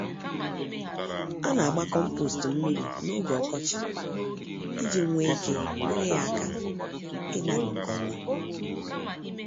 Anagba kompost mmírí n'oge ọkọchị iji nwee ike nyèrè ya áká, igbari nke ọma.